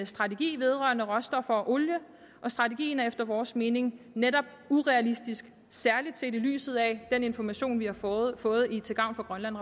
strategi vedrørende råstoffer og olie og strategien er efter vores mening netop urealistisk særlig set i lyset af den information vi har fået fået i til gavn for grønland